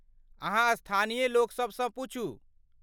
अहाँ स्थानीय लोक सबसँ पुछू।